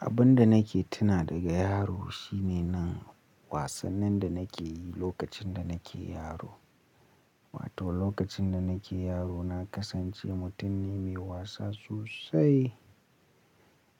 Abun da nake tuna daga yaro shine nan wasannin da nake yi lokacin da nake yaro. Wato lokacin da nake yaro na kasance mutum ne mai wasa sosai.